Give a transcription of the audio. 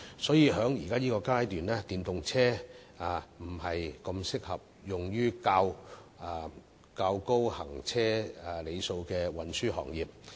所以，在現階段，電動車並不適合用於較高行車里數的運輸行業。